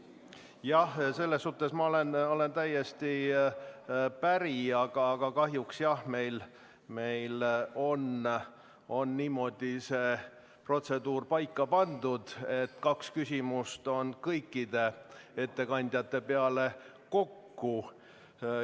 Jah, selles suhtes olen ma täiesti päri, aga kahjuks on meil see protseduur niimoodi paika pandud, et kaks küsimust on kõikide ettekandjate peale kokku.